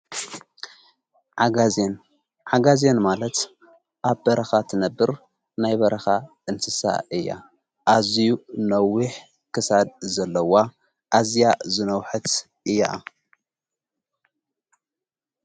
ጋዜንሓጋዜን ማለት ኣብ በረኻ ትነብር ናይ በረኻ እንስሳ እያ ኣዙዩ ነዊሕ ክሳድ ዘለዋ ኣዚያ ዝነውሐት እየ።